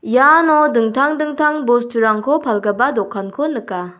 iano dingtang dingtang bosturangko palgipa dokanko nika.